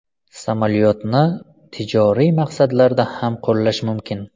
Samolyotni tijoriy maqsadlarda ham qo‘llash mumkin.